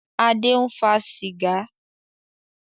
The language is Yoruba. Adé ń fa sìgá